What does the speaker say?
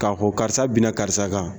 Ka ko karisa binna karisa kan